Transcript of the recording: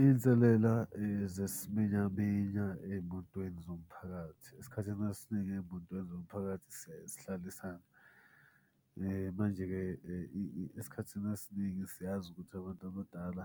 Iy'nselela zesiminyaminya ey'motweni zomphakathi, esikhathini esiningi ey'motweni zomphakathi siyaye sihlalisane. Manje-ke esikhathini esiningi siyazi ukuthi abantu abadala